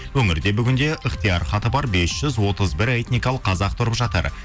өңірде бүгінде ыхтияр хаты бар бес жүз отыз бір этникалық қазақ тұрып жатыр